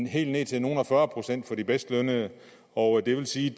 helt ned til nogle og fyrre procent for de bedst lønnede og det vil sige